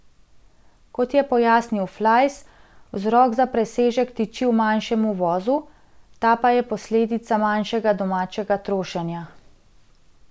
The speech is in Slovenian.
Kot je pojasnil Flajs, vzrok za presežek tiči v manjšem uvozu, ta pa je posledica manjšega domačega trošenja.